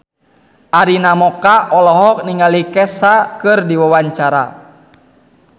Arina Mocca olohok ningali Kesha keur diwawancara